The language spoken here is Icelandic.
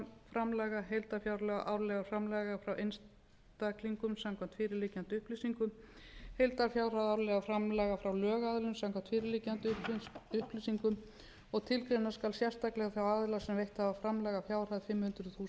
framlaga frá einstaklingum samkvæmt fyrir liggjandi upplýsingum heildarfjárhæð árlegra framlaga frá lögaðilum samkvæmt fyrirliggjandi upplýsingum og tilgreina skal sérstaklega þá aðila sem veitt hafa framlag að fjárhæð fimm hundruð þúsund